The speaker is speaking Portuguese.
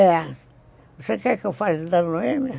É. Você quer que eu fale da Noêmia?